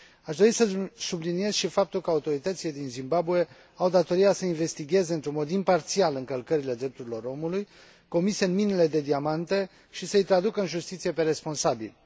Aș dori să subliniez și faptul că autoritățile din Zimbabwe au datoria să investigheze într un mod imparțial încălcările drepturilor omului comise în minele de diamante și să i traducă în justiție pe responsabili.